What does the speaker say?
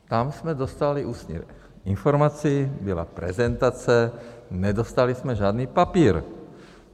Tam jsme dostali ústní informaci, byla prezentace, nedostali jsme žádný papír.